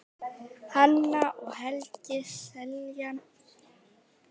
Hanna og Helgi Seljan.